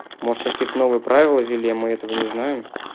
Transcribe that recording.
может какие-то новые правила ввели мы этого не знаем